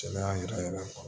Cɛya yɛrɛ yɛrɛ